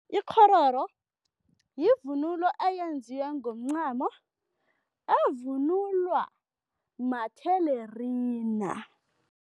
Ikghororo yivunulo eyenziwe ngomncamo evunulwa mathelerina.